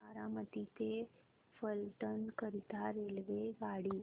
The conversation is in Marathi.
बारामती ते फलटण करीता रेल्वेगाडी